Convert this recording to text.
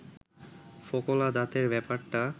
ফোকলা দাঁতের ব্যাপারটা